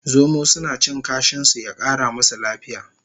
Zomo suna cin kashin su ya Kara musu lafiya